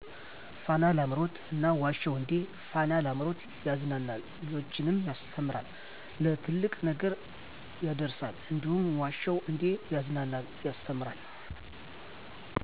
ፋና ላምሮት እና ዋሸሁ እንዴ ፋና ላምሮት ያዝናናል ልጆችንም ያስተምራል ለትልቅ ነገር ያዳርሳል እንዲሁም ዋሸሁ እዴ ያዝናናል ያስተምራል።